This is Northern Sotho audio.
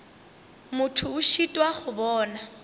motho a šitwa go bona